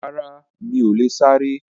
Rárá, mí o le sá eré